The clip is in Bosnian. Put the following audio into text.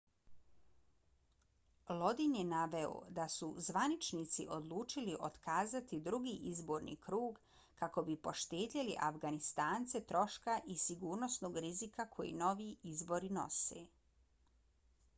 lodin je naveo i da su zvaničnici odlučili otkazati drugi izborni krug kako bi poštedjeli afganistance troška i sigurnosnog rizika koje novi izbori nose